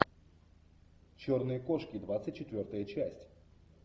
черные кошки двадцать четвертая часть